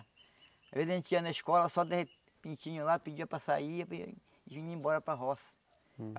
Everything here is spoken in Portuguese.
Às vezes a gente ia na escola, só de repentinho lá, pedia para sair e vi vinha embora para roça.